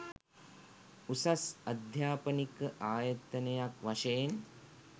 උසස් අධ්‍යාපනික ආයතනයක් වශයෙන්